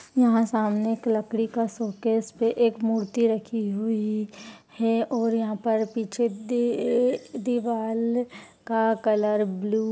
सामने एक लकड़ी का शोकेस पे एक मूर्ति रखी हुई है और यहाँ पर पीछे दी दीवाल का कलर ब्लू --